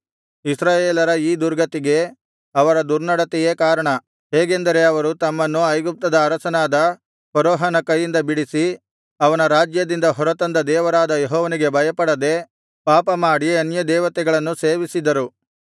ಇಸ್ರಾಯೇಲರ ಈ ದುರ್ಗತಿಗೆ ಅವರ ದುರ್ನಡತೆಯೇ ಕಾರಣ ಹೇಗೆಂದರೆ ಅವರು ತಮ್ಮನ್ನು ಐಗುಪ್ತದ ಅರಸನಾದ ಫರೋಹನ ಕೈಯಿಂದ ಬಿಡಿಸಿ ಅವನ ರಾಜ್ಯದಿಂದ ಹೊರತಂದ ದೇವರಾದ ಯೆಹೋವನಿಗೆ ಭಯಪಡದೆ ಪಾಪಮಾಡಿ ಅನ್ಯದೇವತೆಗಳನ್ನು ಸೇವಿಸಿದರು